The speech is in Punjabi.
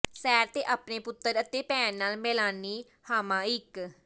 ਸੈਰ ਤੇ ਆਪਣੇ ਪੁੱਤਰ ਅਤੇ ਭੈਣ ਨਾਲ ਮੇਲਾਨੀ ਹਾਮਾਈਕ